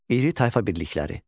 İri tayfa birlikləri.